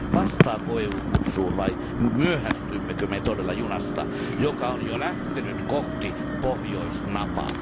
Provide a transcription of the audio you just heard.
Vastaako EU kutsuun, vai myöhästymmekö me todella junasta, joka on jo lähtenyt kohti pohjoisnapaa?